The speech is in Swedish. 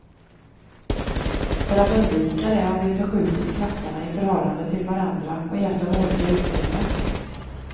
För att undvika det har vi förskjutit klackarna i förhållande till varandra och gett dem olika utseende.